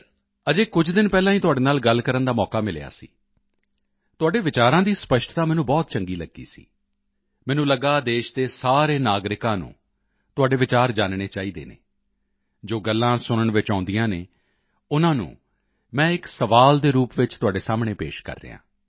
ਅਜੇ ਕੁਝ ਦਿਨ ਪਹਿਲਾਂ ਹੀ ਤੁਹਾਡੇ ਨਾਲ ਗੱਲ ਕਰਨ ਦਾ ਮੌਕਾ ਮਿਲਿਆ ਸੀ ਤੁਹਾਡੇ ਵਿਚਾਰਾਂ ਦੀ ਸਪਸ਼ਟਤਾ ਮੈਨੂੰ ਬਹੁਤ ਚੰਗੀ ਲੱਗੀ ਸੀ ਮੈਨੂੰ ਲੱਗਾ ਦੇਸ਼ ਦੇ ਸਾਰੇ ਨਾਗਰਿਕਾਂ ਨੂੰ ਤੁਹਾਡੇ ਵਿਚਾਰ ਜਾਨਣੇ ਚਾਹੀਦੇ ਹਨ ਜੋ ਗੱਲਾਂ ਸੁਣਨ ਵਿੱਚ ਆਉਂਦੀਆਂ ਹਨ ਉਨ੍ਹਾਂ ਨੂੰ ਮੈਂ ਇੱਕ ਸਵਾਲ ਦੇ ਰੂਪ ਵਿੱਚ ਤੁਹਾਡੇ ਸਾਹਮਣੇ ਪੇਸ਼ ਕਰਦਾ ਹਾਂ